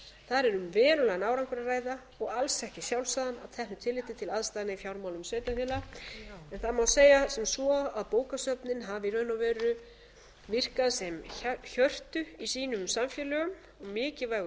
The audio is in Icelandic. er um verulegan árangur að ræða og alls ekki sjálfsagðan að teknu tilliti til aðstæðna í fjármálum sveitarfélaga en það má segja sem svo að bókasöfnin hafi í raun og veru virkað sem hjörtu í sínum samfélögum mikilvægur